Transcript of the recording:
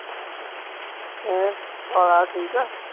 ਹੈ ਕਾਲਾ ਠੀਕ ਆ